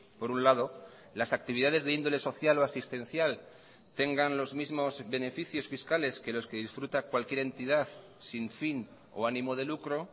por un lado las actividades de índole social o asistencial tengan los mismos beneficios fiscales que los que disfruta cualquier entidad sin fin o animo de lucro